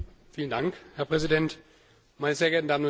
Herr Präsident, meine sehr geehrten Damen und Herren!